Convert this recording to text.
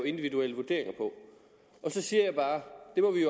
individuelle vurderinger på så siger jeg bare